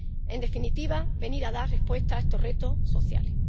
En definitiva, para dar respuesta a estos retos sociales.